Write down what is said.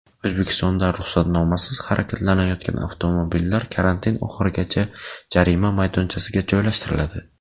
O‘zbekistonda ruxsatnomasiz harakatlanayotgan avtomobillar karantin oxirigacha jarima maydonchasiga joylashtiriladi .